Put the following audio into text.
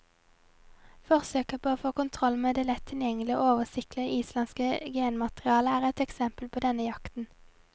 Forsøket på å få kontroll med det lett tilgjengelige og oversiktlige islandske genmaterialet er et eksempel på denne jakten.